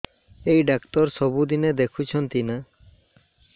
ଏଇ ଡ଼ାକ୍ତର ସବୁଦିନେ ଦେଖୁଛନ୍ତି ନା